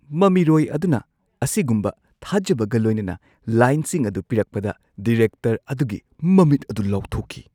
ꯃꯃꯤꯔꯣꯏ ꯑꯗꯨꯅ ꯑꯁꯤꯒꯨꯝꯕ ꯊꯥꯖꯕꯒ ꯂꯣꯏꯅꯅ ꯂꯥꯏꯟꯁꯤꯡ ꯑꯗꯨ ꯄꯤꯔꯛꯄꯗ ꯗꯤꯔꯦꯛꯇꯔ ꯑꯗꯨꯒꯤ ꯃꯃꯤꯠ ꯑꯗꯨ ꯂꯥꯎꯊꯣꯛꯈꯤ꯫